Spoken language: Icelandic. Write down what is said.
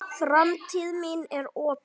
Framtíð mín er opin.